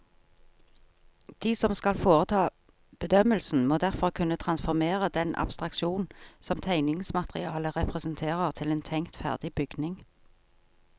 De som skal foreta bedømmelsen, må derfor kunne transformere den abstraksjonen som tegningsmaterialet representerer til en tenkt ferdig bygning.